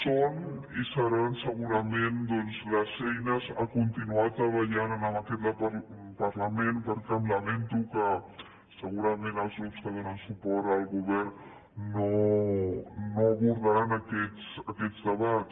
són i seran segurament les eines per continuar treballant en aquest parlament perquè lamento que segurament els grups que donen suport al govern no abordaran aquests debats